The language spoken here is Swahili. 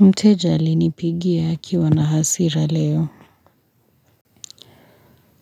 Mteja alinipigia akiwa na hasira leo.